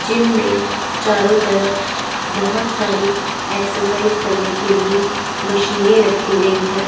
Gym में चारों तरफ बहुत सारी एक्सरसाइज करने के लिए मशीनें रखी गई हैं।